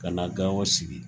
Ka na Gao sigi